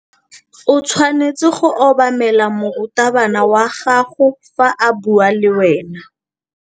O tshwanetse go obamela morutabana wa gago fa a bua le wena.